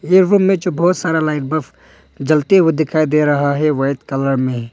में जो बहोत सारा लाइट बल्ब जलते हुए दिखाई दे रहा है व्हाइट कलर में।